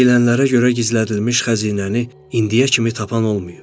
Deyilənlərə görə gizlədilmiş xəzinəni indiyə kimi tapan olmayıb.